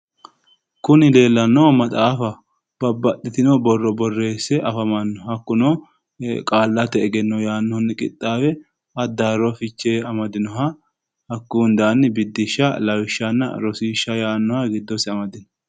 Kuni leellannohu maxaafaho babbaxxitino borro borreesse afamanno hakkuno qaallate egenno yaannohuni qixaawe addaarro fiche amadinoha hakkuyi hundaanni biddisha lawishanna rosiisha yaannoha giddosi amadinoho